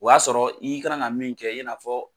O y'a sɔrɔ i kana ka min kɛ i n'a fɔ